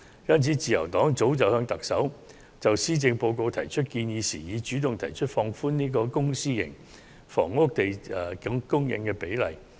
因此，自由黨就施政報告向特首提出建議時，早已主動提出放寬公私營房屋供應的比例。